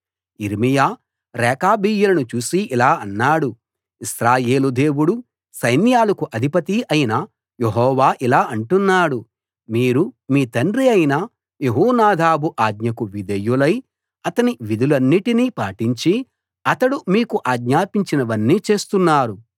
యిర్మీయా రేకాబీయులను చూసి ఇలా అన్నాడు ఇశ్రాయేలు దేవుడూ సైన్యాలకు అధిపతీ అయిన యెహోవా ఇలా అంటున్నాడు మీరు మీ తండ్రి అయిన యెహోనాదాబు ఆజ్ఞకు విధేయులై అతని విధులన్నిటినీ పాటించి అతడు మీకు ఆజ్ఞాపించినవన్నీ చేస్తున్నారు